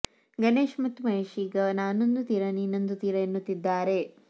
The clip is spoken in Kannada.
ಗಣೇಶ್ ಮತ್ತು ಮಹೇಶ್ ಈಗ ನಾನೊಂದು ತೀರ ನೀನೊಂದು ತೀರಾ ಎನ್ನುತ್ತಿದ್ದಾರೆ